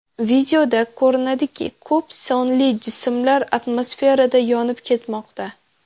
Videoda ko‘rinadiki, ko‘p sonli jismlar atmosferada yonib ketmoqda.